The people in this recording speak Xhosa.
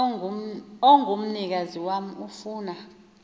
ongumnikazi wam ofuna